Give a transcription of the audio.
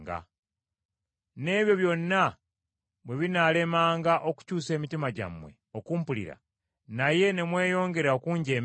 “N’ebyo byonna bwe binaalemanga okukyusa emitima gyammwe okumpulira, naye ne mweyongera okunjeemeranga;